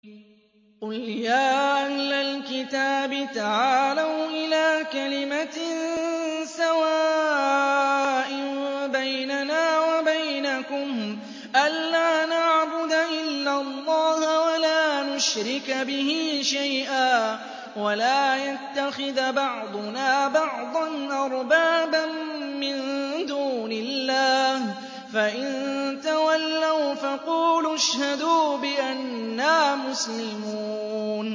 قُلْ يَا أَهْلَ الْكِتَابِ تَعَالَوْا إِلَىٰ كَلِمَةٍ سَوَاءٍ بَيْنَنَا وَبَيْنَكُمْ أَلَّا نَعْبُدَ إِلَّا اللَّهَ وَلَا نُشْرِكَ بِهِ شَيْئًا وَلَا يَتَّخِذَ بَعْضُنَا بَعْضًا أَرْبَابًا مِّن دُونِ اللَّهِ ۚ فَإِن تَوَلَّوْا فَقُولُوا اشْهَدُوا بِأَنَّا مُسْلِمُونَ